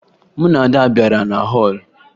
Mụ na Ada bara na họọlụ